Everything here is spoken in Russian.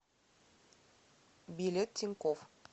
билет тинькофф